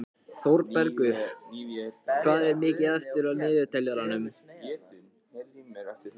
Þórbergur, hvað er mikið eftir af niðurteljaranum?